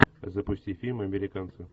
запусти фильм американцы